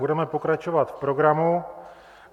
Budeme pokračovat v programu.